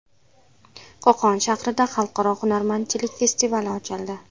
Qo‘qon shahrida Xalqaro hunarmandchilik festivali ochildi.